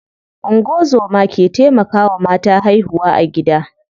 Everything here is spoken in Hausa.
Ungozoma ke taimakawa mata haihuwa a gida.